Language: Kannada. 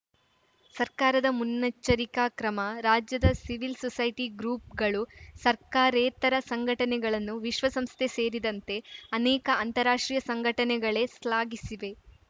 ಸರ್ಕಾರದ ಮುನ್ನೆಚ್ಚರಿಕಾ ಕ್ರಮ ರಾಜ್ಯದ ಸಿವಿಲ್‌ ಸೊಸೈಟಿ ಗ್ರೂಪ್‌ಗಳು ಸರ್ಕಾರೇತರ ಸಂಘಟನೆಗಳನ್ನು ವಿಶ್ವಸಂಸ್ಥೆ ಸೇರಿದಂತೆ ಅನೇಕ ಅಂತಾರಾಷ್ಟ್ರೀಯ ಸಂಘಟನೆಗಳೇ ಶ್ಲಾಘಿಸಿವೆ